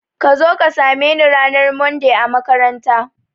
Kazo ka same ni ranar Monday a makaranta